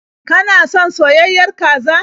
Kana son soyayyiyar kaza?